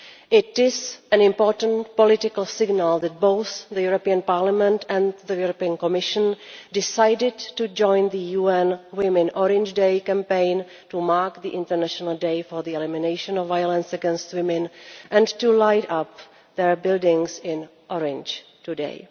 It is an important political signal that both Parliament and the Commission decided to join the UN Women's Orange Day campaign to mark the International Day for the Elimination of Violence against Women and to light up their buildings in orange today.